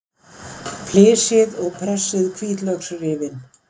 Flysjið og pressið hvítlauksrifin.